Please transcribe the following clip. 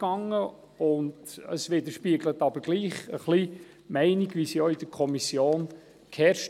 Aber dies zeigt deutlich, wie die Stimmung in der Kommission war.